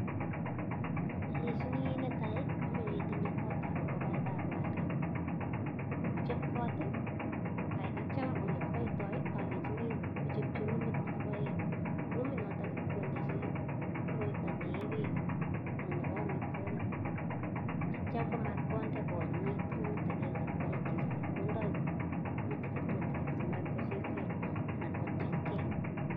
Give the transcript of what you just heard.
Alechini netai komache itinye kotab arek, yechop kot atyo ole kipoitoi alenchini kochapchi ruumit nekipae, ruminoto kondechi koroito nee beek ii ak nebo amitwokik, atya kotkomainde konyit rumit agenge ngokaik chechang, kondoi tutigin tutigin matkochilkei anan kotiechkei.